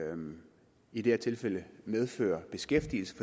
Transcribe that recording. i det her tilfælde medfører beskæftigelse